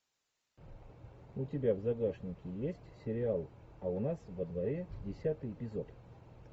у тебя в загашнике есть сериал а у нас во дворе десятый эпизод